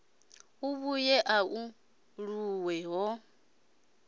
a vhuye a aluwe ho